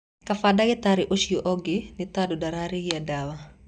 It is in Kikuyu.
Kaba dagĩtarĩ ũco ũngĩ nĩ tondũ ndararĩhia dawa